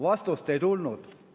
Vastust ei tulnud.